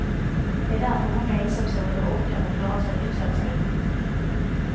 Det är därför många ensamstående orkar och klarar sig hyfsat, säger hon.